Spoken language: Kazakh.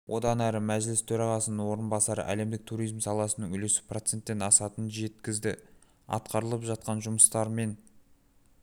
одан әрі мәжіліс төрағасының орынбасары әлемдік туризм саласының үлесі проценттен асатынын жеткізді атқарылып жатқан жұмыстар мен